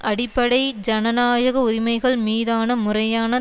அடிப்படை ஜனநாயக உரிமைகள் மீதான முறையான